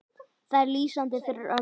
Það er lýsandi fyrir ömmu.